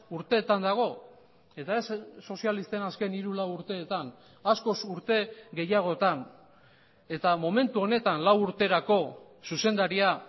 urteetan dago eta ez sozialisten azken hiru lau urteetan askoz urte gehiagotan eta momentu honetan lau urterako zuzendaria